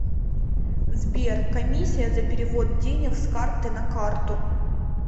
сбер комиссия за перевод денег с карты на карту